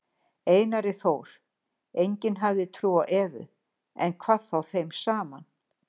Einari Þór, enginn hafði trú á Evu, hvað þá þeim saman.